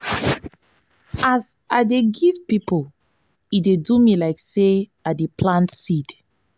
as i dey give pipo e dey do me like sey i dey plant seed.